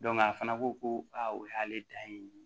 a fana ko ko aa o y'ale ta ye